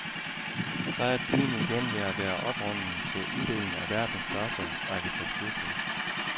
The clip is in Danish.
Så er tiden igen ved at være oprunden til uddeling af verdens største arkitekturpris.